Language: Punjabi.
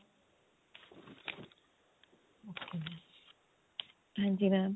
ਹਾਂਜੀ mam